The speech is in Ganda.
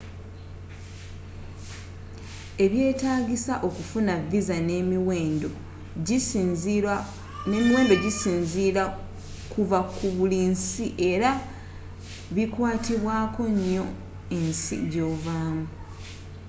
ebyetaagisa okufuna visa nemiwendo gisinzira kuva ku buli nsi era bikwatibwakonyo ensi gyovamu